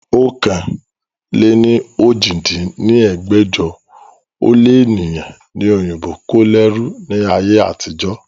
ọ̀kan-lé-ní-ojì dín ní ẹgbẹ́jọ ó lé ènìyàn ni òyìnbó kó lẹ́rú ni ayé àtijọ́